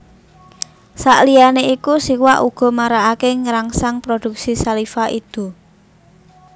Sakliyané iku siwak uga marakaké ngrangsang produksi saliva idu